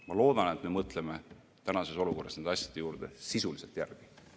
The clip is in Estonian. Ma loodan, et me mõtleme tänases olukorras nende asjade üle sisuliselt järele.